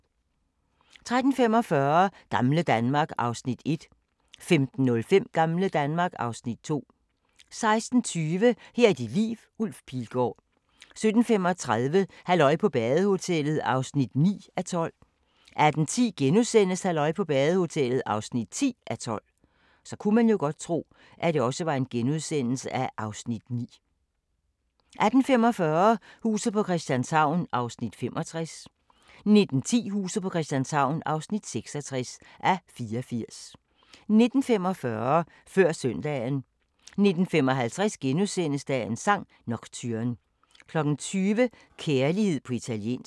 13:45: Gamle Danmark (Afs. 1) 15:05: Gamle Danmark (Afs. 2) 16:20: Her er dit liv – Ulf Pilgaard 17:35: Halløj på badehotellet (9:12) 18:10: Halløj på badehotellet (10:12)* 18:45: Huset på Christianshavn (65:84) 19:10: Huset på Christianshavn (66:84) 19:45: Før Søndagen 19:55: Dagens sang: Nocturne * 20:00: Kærlighed på italiensk